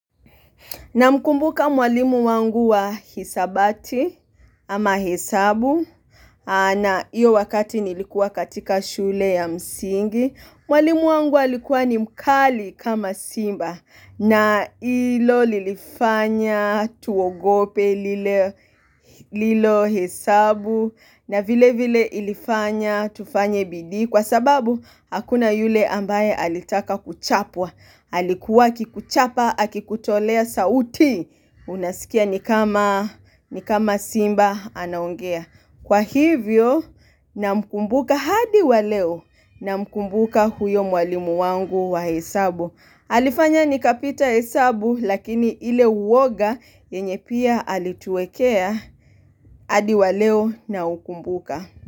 Na mkumbuka mwalimu wangu wa hisabati ama hesabu na hiyo wakati nilikuwa katika shule ya msingi, mwalimu wangu alikuwa ni mkali kama simba na ilo lilifanya tuogope lilo hesabu na vile vile ilifanya tufanye bidii kwa sababu hakuna yule ambaye alitaka kuchapwa. Halikuwa akikuchapa, akikutolea sauti. Unasikia ni kama simba anaongea. Kwa hivyo na mkumbuka hadi waleo na mkumbuka huyo mwalimu wangu wa hesabu. Alifanya nikapita hesabu lakini ile uwoga yenye pia alituwekea hadi waleo na ukumbuka.